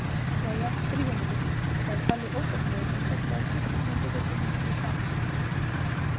Jæja, drífum okkur! sagði Palli óþolinmóður og sveiflaði kippunni með bíllyklinum fyrir framan sig.